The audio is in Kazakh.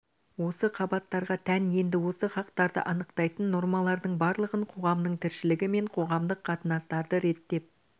осы қабаттарға тән енді осы хақтарды анықтайтын нормалардың барлығын қоғамның тіршілігі мен қоғамдық қатынастарды реттеп